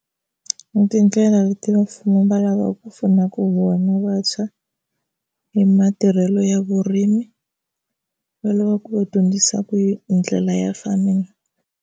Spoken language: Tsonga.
I tindlela leti va mfumo va lavaku ku pfunaku vona vantshwa hi matirhelo ya vurimi, va lavaka ku va dyondzisaku hi ndlela ya farming.